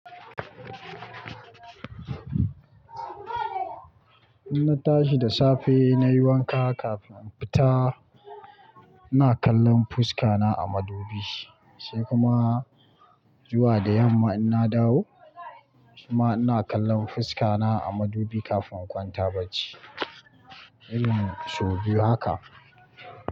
Idan na tashi da safe na yi wanka kafin in fita, ina kallon fuskata a madubi sai kuma zuwa da yamma idan na dawo kuma ina kallon fuska na a madubi kafin in kwanta bacci. Irin szu biyu haka.a